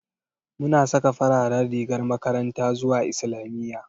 Muna saka fararen rigar makaranta zuwa islamiyya